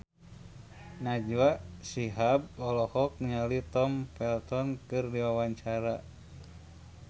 Najwa Shihab olohok ningali Tom Felton keur diwawancara